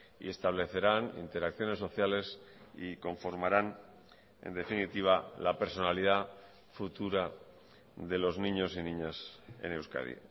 y establecerán interacciones sociales y conformaran en definitiva la personalidad futura de los niños y niñas en euskadi